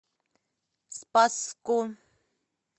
спасску